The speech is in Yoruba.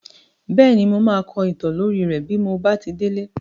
Bẹ́ẹ̀ni, mo máa kọ ìtàn lórí rẹ́ bí mo bá ti délé.